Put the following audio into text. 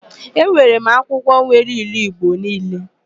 Enwere m akwụkwọ nwere ilu Igbo niile.